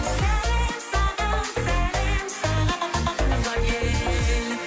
сәлем саған сәлем саған туған ел